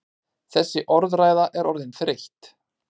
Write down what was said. Þessi orðræða er orðin þreytt!